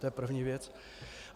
To je první věc.